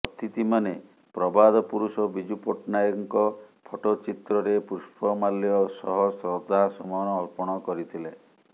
ଅତିଥିମାନେ ପ୍ରବାଦ ପୁରୁଷ ବିଜୁ ପଟ୍ଟନାୟକଙ୍କ ଫଟୋଚିତ୍ରରେ ପୁଷ୍ପମାଲ୍ୟ ସହ ଶ୍ରଦ୍ଧାସୁମନ ଅର୍ପଣ କରିଥିଲେ